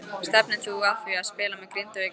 Stefnir þú að því að spila með Grindavík næsta sumar?